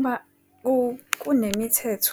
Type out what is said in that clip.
Uma kunemithetho